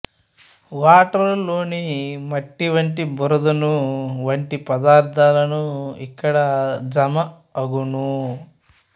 వాటరులోని మట్టివంటి బురదను వంటి పదార్థాలు ఇక్కడ జమ అగును